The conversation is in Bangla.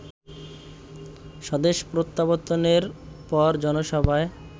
স্বদেশ প্রত্যাবর্তনের পর জনসভায়